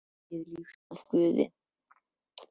Hann hefur þegið líf sitt af Guði.